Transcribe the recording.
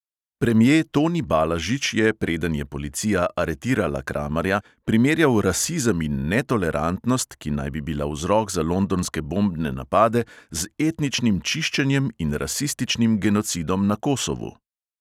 Premje toni balažič je, preden je policija aretirala kramarja, primerjal rasizem in netolerantnost, ki naj bi bila vzrok za londonske bombne napade, z etničnim čiščenjem in rasističnim genocidom na kosovu.